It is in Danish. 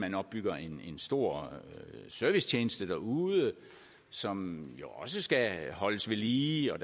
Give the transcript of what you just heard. man opbygger en stor servicetjeneste derude som jo også skal holdes ved lige og